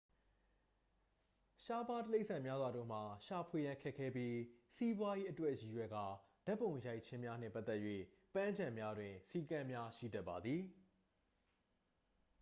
ရှားပါးတိရစ္ဆာန်များစွာတို့မှာ ရှာဖွေရန်ခက်ခဲပြီး စီးပွားရေးအတွက်ရည်ရွယ်ကာဓာတ်ပုံရိုက်ခြင်းများနှင့်ပတ်သက်၍ ပန်းခြံများတွင် စည်းကမ်းများရှိတတ်ပါသည်